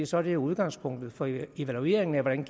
så er det jo udgangspunktet for evalueringen af hvordan